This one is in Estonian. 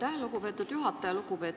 Aitäh, lugupeetud juhataja!